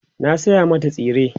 na saya mata tsire